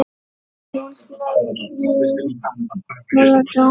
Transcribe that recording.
Hún hlaut mjög góða dóma.